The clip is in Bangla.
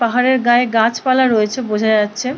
পাহাড়ের গায়ে গাছ পালা রয়েছে বোঝা যাচ্ছে--